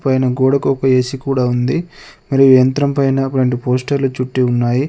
పైన గోడకు ఒక ఏ_సీ కూడా ఉంది. మరియు యంత్రం పైన ఒక రెండు పోస్టర్లు చుట్టి ఉన్నాయి.